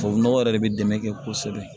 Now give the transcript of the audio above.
Tubabu nɔgɔ yɛrɛ de bɛ dɛmɛ kɛ kosɛbɛ